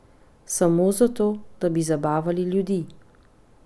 Samo zato, da bi zabavali ljudi?